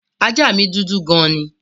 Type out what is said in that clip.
Ajá mí dúdú gan ni.